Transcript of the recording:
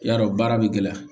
I y'a dɔn baara bɛ gɛlɛya